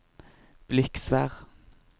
Bliksvær